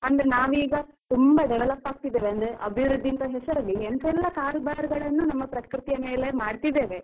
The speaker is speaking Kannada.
ಅಂದ್ರೆ ನಾವೀಗ ತುಂಬಾ develop ಆಗ್ತಿದ್ದೇವೆ. ಅಂದ್ರೆ ಅಭಿವೃದ್ಧಿ ಅಂತ ಹೆಸರಲ್ಲಿ ಎಂತಾ ಎಲ್ಲಾ ಕಾರುಬಾರುಗಳನ್ನು ನಮ್ಮ ಪ್ರಕೃತಿಯ ಮೇಲೆ ಮಾಡ್ತಿದ್ದೇವೆ.